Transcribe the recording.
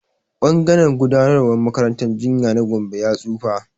Ɓangaren gudanarwar makarantar jinya na Gombe ya tsufa.